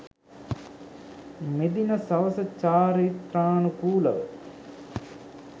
මෙදින සවස චාරිත්‍රානුකූලව